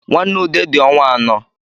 Nnwa ude di ọnwa anọ